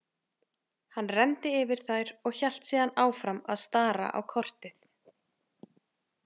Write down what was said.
Hann renndi yfir þær og hélt síðan áfram að stara á kortið.